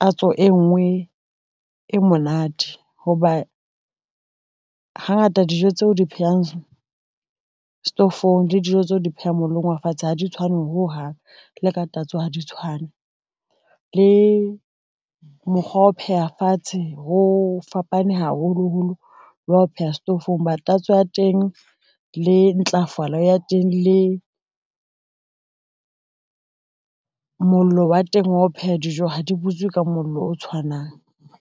tatso e nngwe e monate hoba, hangata dijo tseo di phehang setofong le dijo tseo di phehang mollong wa fatshe ha di tshwane ho hang le ka tatso ha di tshwane le mokgwa wa ho pheha fatshe, ho fapane haholoholo wa ho pheha setofong ba tatso ya teng, le ntlafala ya teng le mollo wa teng wa ho pheha dijo ha di butswe ka mollo o tshwanang.